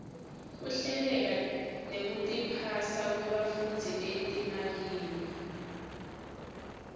kuhleleka nekutiphasa kwebafundzi etimalini